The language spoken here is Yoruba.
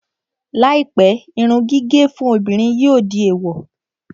Láìpẹ́, irun gígẹ̀ fún obìnrin yóò di